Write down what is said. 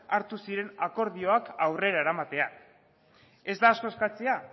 hartu ziren akordioak aurrera eramatea ez da asko eskatzea